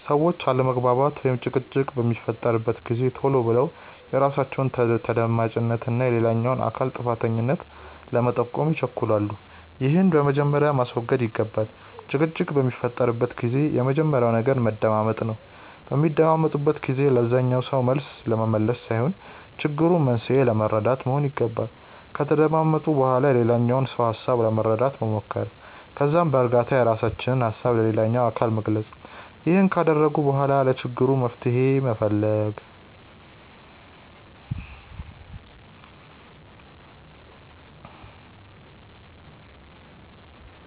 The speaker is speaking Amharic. ሰዎች አለመግባባት ወይም ጭቅጭቅ በሚፈጠርበት ጊዜ ቶሎ ብለው የራሳቸውን ተደማጭነት እና የሌላኛውን አካል ጥፋተኛነት ለመጠቆም ይቸኩላሉ። ይህንን በመጀመሪያ ማስወገድ ይገባል። ጭቅጭቅ በሚፈጠርበት ጊዜ የመጀመሪያው ነገር መደማመጥ ነው። በሚደማመጡበት ጊዜ ለዛኛው ሰው መልስ ለመመለስ ሳይሆን የችግሩን መንስኤ ለመረዳት መሆን ይገባል። ከተደማመጡ በኋላ የሌላኛውን ሰው ሀሳብ ለመረዳት መሞከር። ከዛም በእርጋታ የራሳቸውን ሀሳብ ለሌላኛው አካል መግለጽ። ይህንን ካደረጉ በኋላ ለችግሩ መፍትሄ መፈለግ።